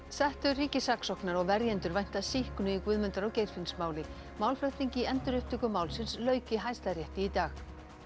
settur ríkissaksóknari og verjendur vænta sýknu í Guðmundar og Geirfinnsmáli málflutningi í endurupptöku málsins lauk í Hæstarétti í dag